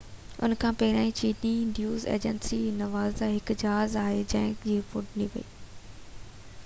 ان کان پهريان چيي نيوز ايجنسي زنهوا هڪ جهاز هائي جيڪ ٿيڻ جي رپورٽ ڏني هئي